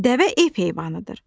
Dəvə ev heyvanıdır.